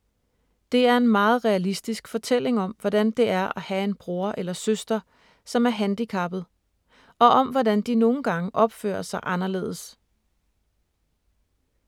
Det er en meget realistisk fortælling om, hvordan det er at have en bror eller søster, som er handicappet, og om hvordan de nogle gange opfører sig anderledes.